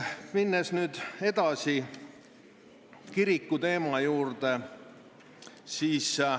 Lähen nüüd edasi kirikuteema juurde.